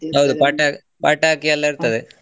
ಪಟ~ ಪಟಾಕಿ ಎಲ್ಲ ಇರ್ತದೆ.